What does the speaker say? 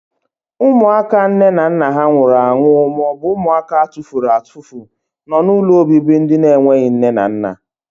Ụmụaka nne na nna ha nwụrụ anwụ maọbụ ụmụaka atufuru atufu nọ n'ụlọobibi ndị enweghị nne na nna.